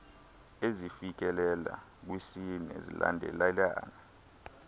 ezifikelela kwisine zilandelelana